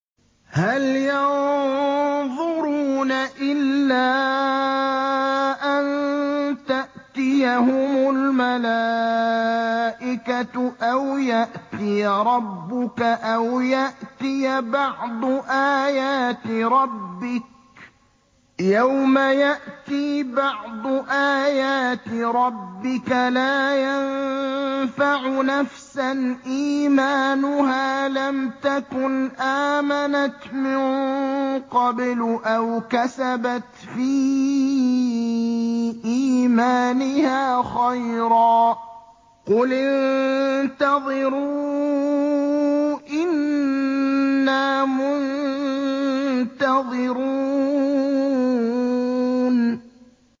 هَلْ يَنظُرُونَ إِلَّا أَن تَأْتِيَهُمُ الْمَلَائِكَةُ أَوْ يَأْتِيَ رَبُّكَ أَوْ يَأْتِيَ بَعْضُ آيَاتِ رَبِّكَ ۗ يَوْمَ يَأْتِي بَعْضُ آيَاتِ رَبِّكَ لَا يَنفَعُ نَفْسًا إِيمَانُهَا لَمْ تَكُنْ آمَنَتْ مِن قَبْلُ أَوْ كَسَبَتْ فِي إِيمَانِهَا خَيْرًا ۗ قُلِ انتَظِرُوا إِنَّا مُنتَظِرُونَ